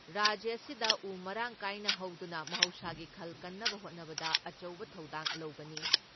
ꯔꯥꯖ꯭ꯌ ꯑꯁꯤꯗ ꯎ ꯃꯔꯥꯡ ꯀꯥꯏꯅ ꯍꯧꯗꯨꯅ ꯃꯍꯧꯁꯥꯒꯤ ꯈꯜ ꯀꯟꯅꯕ ꯍꯣꯠꯅꯕꯗ ꯑꯆꯧꯕ ꯊꯧꯗꯥꯡ ꯂꯧꯒꯅꯤ ꯫